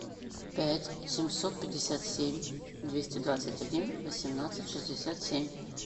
пять семьсот пятьдесят семь двести двадцать один восемнадцать шестьдесят семь